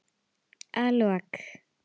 Að lok